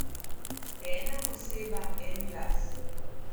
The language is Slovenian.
Ena oseba, en glas.